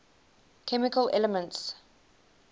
chemical elements